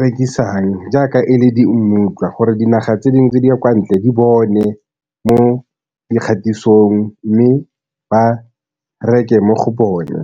rekisang jaaka e le di mmutlwa gore dinaga tse dingwe tse di ya kwa ntle di bone mo dikgaisanong mme ba reke mo go bone.